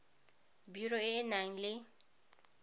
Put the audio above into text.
biro e e nang le